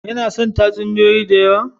Ya san tatsuniyoyi da yawa